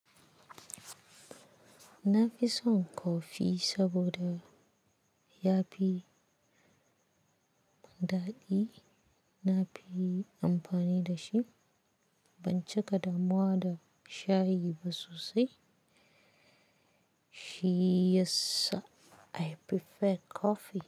Na fi son kofi saboda ya fi daɗi. Na fi amfani da shi. Ban cika damuwa da shayi ba sosai. Shi yassa I prefer coffee.